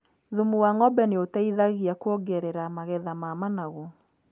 Thumu wa ng’ombe nĩ ũteithagia kuongerera magetha ma managu.